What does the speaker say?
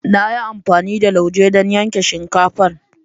Na yi amfani da lauje don yanke shinkafar.